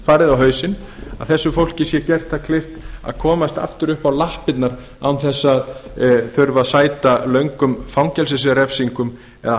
farið á hausinn sé gert það kleift að standa aftur í lappirnar án þess að þurfa að sæta löngum fangelsisrefsingum eða